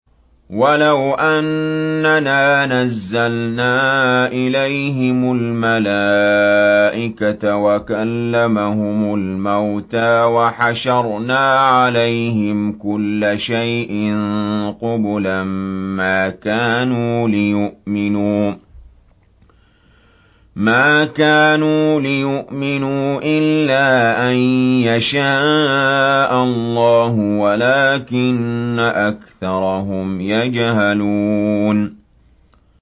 ۞ وَلَوْ أَنَّنَا نَزَّلْنَا إِلَيْهِمُ الْمَلَائِكَةَ وَكَلَّمَهُمُ الْمَوْتَىٰ وَحَشَرْنَا عَلَيْهِمْ كُلَّ شَيْءٍ قُبُلًا مَّا كَانُوا لِيُؤْمِنُوا إِلَّا أَن يَشَاءَ اللَّهُ وَلَٰكِنَّ أَكْثَرَهُمْ يَجْهَلُونَ